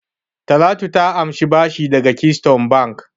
Talatu ta amshi bashi daga Keystone Bank.